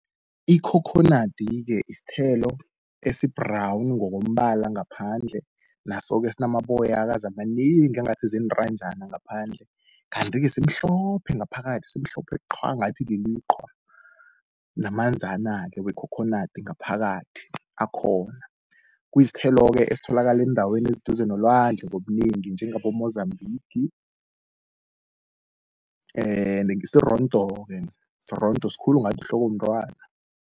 Ikhokhonadi-ke isithelo esi-brown ngokombala ngaphandle, naso-ke sinamaboyakazi amanengi angathi ziintanjana ngaphandle. Kanti-ke simhlophe ngaphakathi, simhlophe qhwa ngathi liliqhwa, namanzana-ke wekhokhonadi ngaphakathi akhona. Kuyisithelo-ke esitholaka eendaweni eziduze nolwandle ngobunengi njengabo-Mozambique sirondo-ke, sirondo, sikhulu ngathi yihloko yomntwana.